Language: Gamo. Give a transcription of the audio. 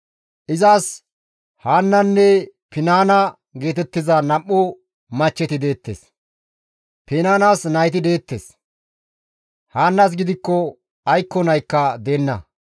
Izas Haannanne Finaana geetettiza nam7u machcheti deettes; Finaanas nayti deettes; Haannas gidikko aykko naykka deenna.